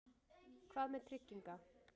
Hvað með trygginga